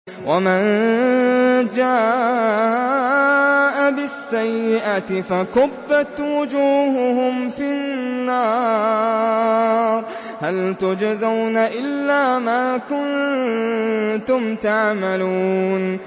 وَمَن جَاءَ بِالسَّيِّئَةِ فَكُبَّتْ وُجُوهُهُمْ فِي النَّارِ هَلْ تُجْزَوْنَ إِلَّا مَا كُنتُمْ تَعْمَلُونَ